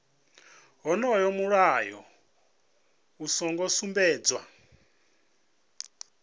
wonoyo mulayo u songo sumbedzwa